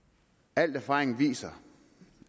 al erfaring viser